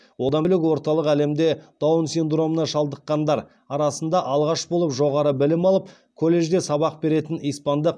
одан бөлек орталық әлемде даун синдромына шалдыққандар арасында алғаш болып жоғары білім алып колледжде сабақ беретін испандық